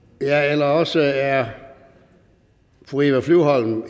eller også er fru eva flyvholm